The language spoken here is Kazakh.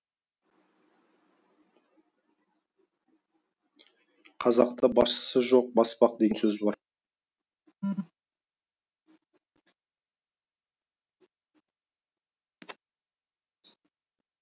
қазақта басшысы жоқ баспақ деген сөз бар